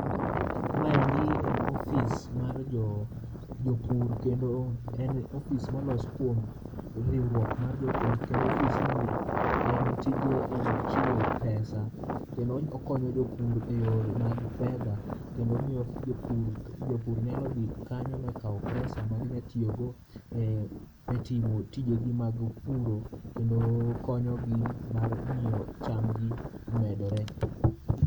Maendi en ofis mar jo, jopur kendo en ofis molos kuom riwruok mar jopur. Kendo ofisnie en tije en chiwo pesa kendo okonyo jopur e yore mag fedha. Kendo miyo jopur, jopur nyalo dhi kanyo ma kaw pesa maginyatiyogo e timo tijegi mag puro kendo konyogi mar miyo chamgi omedore.